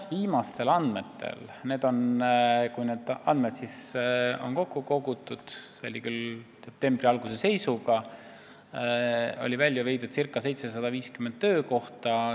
Viimastel andmetel, see on küll detsembri alguse seisuga, on Tallinnast välja viidud circa 750 töökohta.